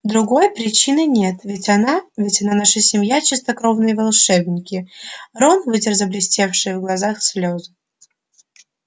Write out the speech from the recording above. другой причины нет ведь она ведь наша семья чистокровные волшебники рон вытер заблестевшие в глазах слезы